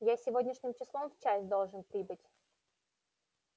я сегодняшним числом в часть должен прибыть